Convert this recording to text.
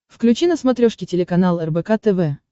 включи на смотрешке телеканал рбк тв